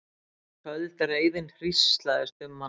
Köld reiðin hríslaðist um hann.